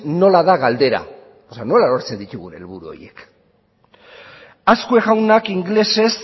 nola da galdera eta nola lortzen ditugun helburu horiek azkue jaunak ingelesez